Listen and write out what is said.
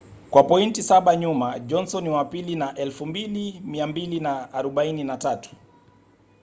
kwa pointi saba nyuma johnson ni wa pili na 2,243